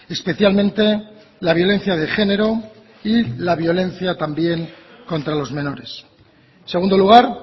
especialmente la violencia de género y la violencia también contra los menores en segundo lugar